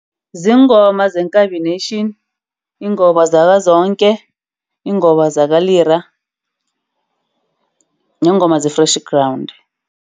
Ziingoma zeNkabi Nation, ingoma zakaZonke, ingoma zakaLira nengoma ze-Freshly Ground.